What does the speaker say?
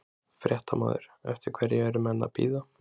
Fréttamaður: Eftir hverju eru menn að bíða?